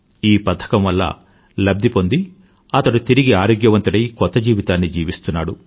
ఈ పథకం వల్ల లబ్ధి పొంది అతడు తిరిగి ఆరోగ్యవంతుడై కొత్త జీవితాన్ని జీవిస్తున్నాడు